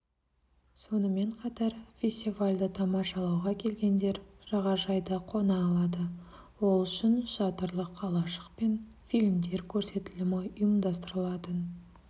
сонымен қатар фестивальді тамашалауға келгендер жағажайда қона алады ол үшін шатырлы қалашық пен фильмдер көрсетілімі ұйымдастырылатын